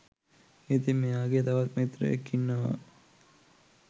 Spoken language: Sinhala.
ඉතින් මෙයාගේ තවත් මිත්‍රයෙක් ඉන්නවා